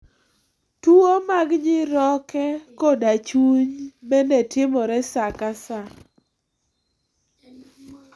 Tuwo mag nyiroke koda chuny bende timore saa ka saa.